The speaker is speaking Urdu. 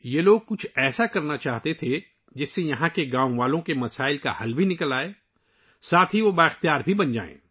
یہ لوگ کچھ ایسا کرنا چاہتے تھے ، جس سے یہاں کے گاؤں والوں کے مسائل حل ہوں اور انہیں بااختیار بھی بنایا جائے